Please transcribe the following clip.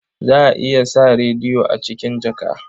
Za a iya sa rediyo a cikin jaka.